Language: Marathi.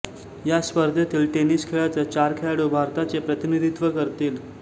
या स्पर्धेतील टेनिस खेळाच चार खेळाडू भारताचे प्रतिनिधित्व करतील